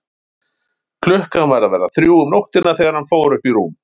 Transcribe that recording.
Klukkan var að verða þrjú um nóttina þegar hann fór upp í rúm.